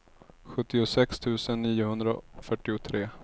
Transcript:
sjuttiosex tusen niohundrafyrtiotre